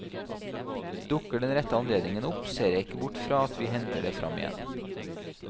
Dukker den rette anledningen opp så ser jeg ikke bort i fra at vi henter det fram igjen.